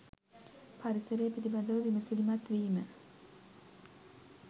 පරිසරය පිළිබඳ විමසිලිමත් වීම